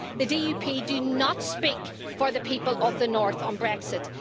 The DUP do not speak for the people of the North on Brexit.